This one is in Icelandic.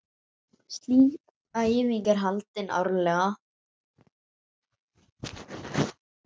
Slík æfing er haldin árlega.